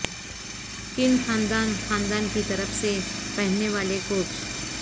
کن خاندان خاندان کی طرف سے پہننے والے کوچ